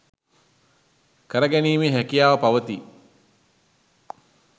කර ගැනීමේ හැකියාව පවතී.